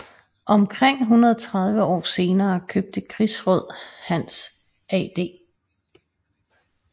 Omkring 130 år senere købte krigsråd Hans Ad